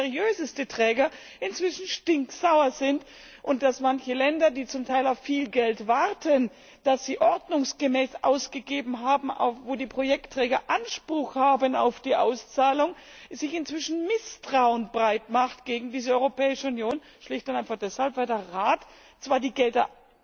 Selbst seriöseste Träger sind inzwischen stinksauer, und in manchen Ländern, die zum Teil auf viel Geld warten, das sie ordnungsgemäß ausgegeben haben, wo die Projektträger Anspruch haben auf die Auszahlung, macht sich inzwischen Misstrauen breit gegen diese Europäische Union, schlicht und einfach deshalb, weil der Rat zwar die Gelder